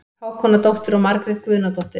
Hákonardóttir og Margrét Guðnadóttir.